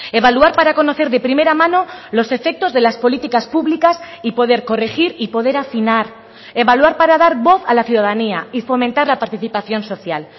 evaluar para conocer de primera mano los efectos de las políticas públicas y poder corregir y poder afinar evaluar para dar voz a la ciudadanía y fomentar la participación social